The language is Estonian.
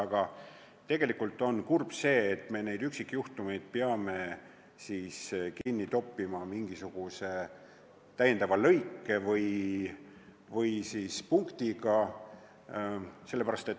Aga tegelikult on kurb, et me peame üksikjuhtumeid kinni toppima mingisuguse täiendava lõike või punktiga.